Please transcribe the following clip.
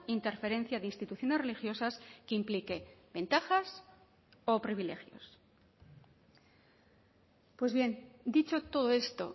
interferencia de instituciones religiosas que implique ventajas o privilegios pues bien dicho todo esto